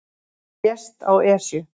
Lést á Esju